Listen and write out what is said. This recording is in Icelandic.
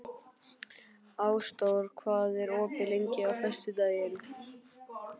Ásdór, hvað er opið lengi á föstudaginn?